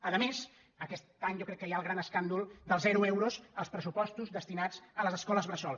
a més aquest any jo crec que hi ha el gran escàndol dels zero euros als pressupostos destinats a les escoles bressol